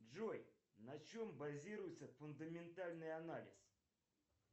джой на чем базируется фундаментальный анализ